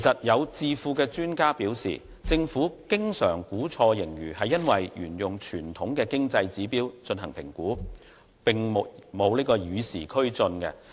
有智庫專家表示，政府經常估錯盈餘是因為沿用傳統的經濟指標進行評估，並沒有與時俱進。